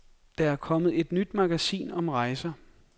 Der er kommet et nyt magasin om rejser.